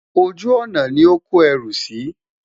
ojú ònà ní ọ kò ẹrú sí